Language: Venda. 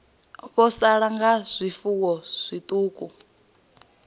vho sala nga zwifuwo zwiṱuku